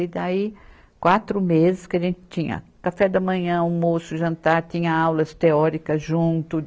E daí, quatro meses que a gente tinha café da manhã, almoço, jantar, tinha aulas teóricas junto.